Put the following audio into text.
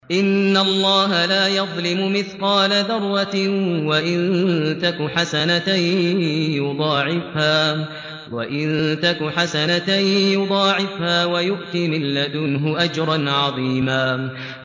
إِنَّ اللَّهَ لَا يَظْلِمُ مِثْقَالَ ذَرَّةٍ ۖ وَإِن تَكُ حَسَنَةً يُضَاعِفْهَا وَيُؤْتِ مِن لَّدُنْهُ أَجْرًا عَظِيمًا